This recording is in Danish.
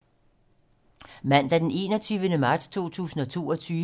Mandag d. 21. marts 2022